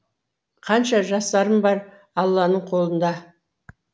қанша жасарым бар алланың қолында